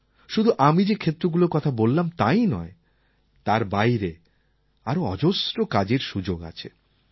শুধু আমি যে ক্ষেত্রগুলির কথা বললাম তাই নয় তার বাইরে আরও অজস্র কাজের সুযোগ আছে